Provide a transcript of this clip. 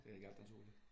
Det er ganske naturligt